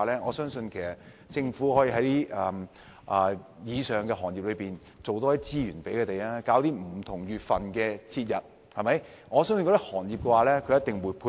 我相信政府可以為以上的行業多提供資源，在不同月份舉辦節日，這些行業一定會配合。